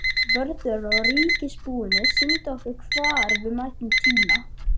Vörður á ríkisbúinu sýndi okkur hvar við mættum tína.